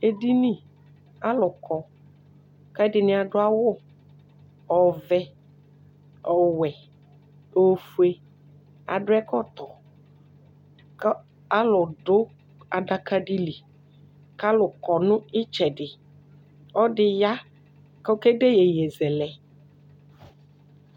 edini alò kɔ k'ɛdini adu awu ɔvɛ ɔwɛ ofue adu ɛkɔtɔ kò alò du adaka di li k'alò kɔ n'itsɛdi ɔlò ɛdi ya k'oke de yeye zɛlɛ.